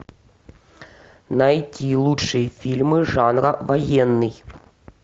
найти лучшие фильмы жанра военный